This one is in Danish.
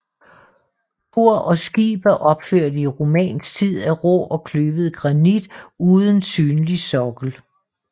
Kor og skib er opført i romansk tid af rå og kløvet granit uden synlig sokkel